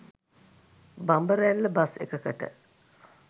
බඹරැල්ල bus එකකට